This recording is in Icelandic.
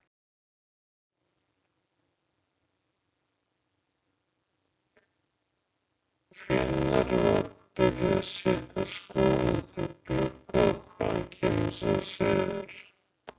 Hvenær var byrjað að setja skóinn út í glugga og hvaðan kemur sá siður?